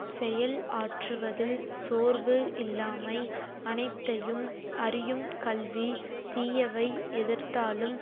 செயல் ஆற்றுவதில் சோர்வு இல்லாமை அனைத்தையும் அறியும் கல்வி தீயவை எதிர்த்தாலும்